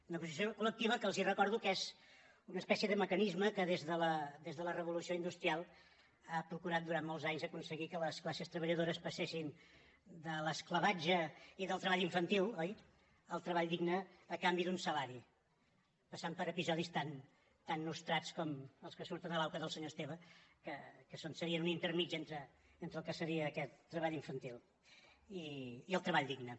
negociació col·lectiva que els recordo que és una espècie de mecanisme que des de la revolució industrial ha procurat durant molts anys aconseguir que les classes treballadores passessin de l’esclavatge i del treball infantil oi al treball digne a canvi d’un salari passant per episodis tan nostrats com els que surten a l’auca del senyor esteve que serien un entremig entre el que seria aquest treball infantil i el treball digne